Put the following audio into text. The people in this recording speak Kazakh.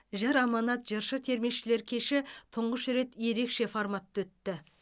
жыр аманат жыршы термешілер кеші тұңғыш рет ерекше форматта өтті